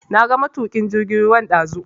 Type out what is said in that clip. Na ga matukin jirgin ruwan dazu.